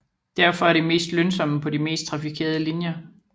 Derfor er de mest lønsomme på de mest trafikerede linjer